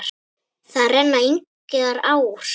Þar renna engar ár.